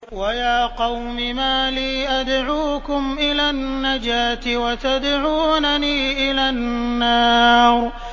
۞ وَيَا قَوْمِ مَا لِي أَدْعُوكُمْ إِلَى النَّجَاةِ وَتَدْعُونَنِي إِلَى النَّارِ